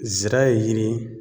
Zira ye yiri ye